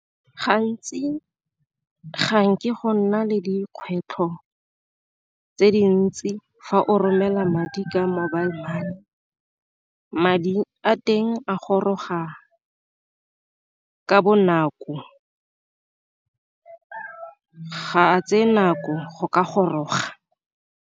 Gantsi ga nke go nna le dikgwetlho tse dintsi fa o romela madi ka mobile money, madi di a teng a goroga ka bonako ga a tseye nako go ka goroga.